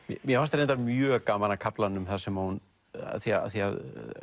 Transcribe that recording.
mér fannst reyndar mjög gaman að kaflanum þar sem hún af því að